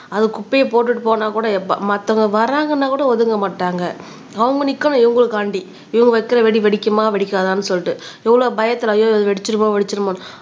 அது குப்பையை போட்டுட்டு போனாக்கூட மத்தவங்க வராங்கன்னா கூட ஒதுங்க மாட்டாங்க அவங்க நிக்கணும் இவங்களுக்காண்டி இவங்க வைக்கிற வெடி வெடிக்குமா வெடிக்காதான்னு சொல்லிட்டு எவ்வளவு பயத்துல ஐயோ வெடிச்சிருமோ வெடிச்சிருமோன்னு